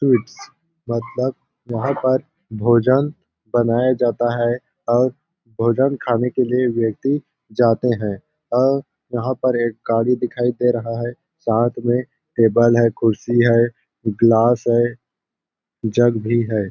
Sweets मतलब यहां पर भोजन बनाया जाता है और भोजन खाने के लिए व्यक्ति जाते हैं और यहां पर एक गाड़ी दिखाई दे रहा है साथ में टेबल है कुर्सी है ग्लास है जग भी है ।